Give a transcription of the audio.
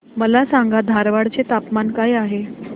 मला सांगा धारवाड चे तापमान काय आहे